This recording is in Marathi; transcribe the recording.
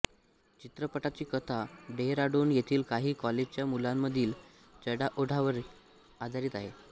चित्रपटाची कथा डेहराडून येथील काही कॉलेजच्या मुलांमधील चढाओढीवर आधारित आहे